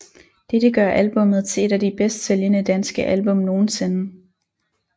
Dette gør albummet til ét af de bedst sælgende danske album nogensinde